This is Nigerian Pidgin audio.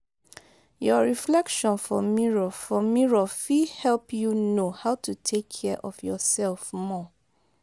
your reflection for mirror for mirror fit help you know how to take care of your self more